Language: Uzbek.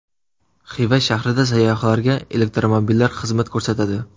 Xiva shahrida sayyohlarga elektromobillar xizmat ko‘rsatadi.